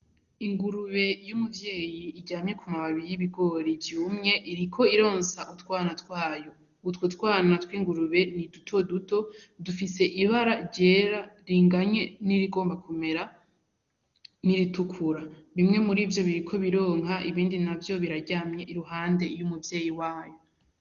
Ingurube Y'umuvyeyi iryamye k'umababi y'ibigori vyumye Iriko ironsa utwana twayo, utwo twana twingurube nidutoto dufise ibara ryera ringanye n'irigomba kumera n'iritukura bimwe murivyo Biriko bironka ibindi ntavyo biraryamye iruhande Y'umuvyeyi wavyo.